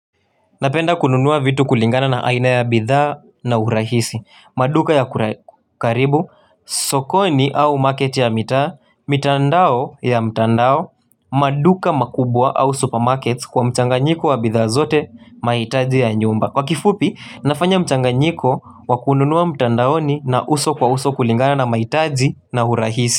Napenda kununua vitu kulingana na aina ya bidhaa na urahisi maduka ya karibu, sokoni au market ya mitaa mitandao ya mtandao, maduka makubwa au supermarket kwa mchanganyiko wa bidhaa zote mahitaji ya nyumba kwa kifupi, nafanya mchanganyiko wa kununua mtandaoni na uso kwa uso kulingana na mahitaji na urahisi.